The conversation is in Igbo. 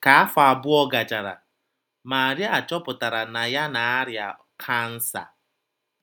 Ka afọ abụọ gachara, Maria chọpụtara na ya na - arịa cancer.